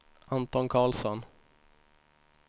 Anton Carlsson